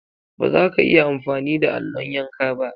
Baza ka iya amfani da allon yanka ba.